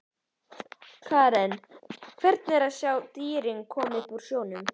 Karen: Hvernig er að sjá dýrin koma upp úr snjónum?